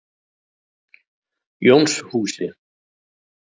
Jónshúsi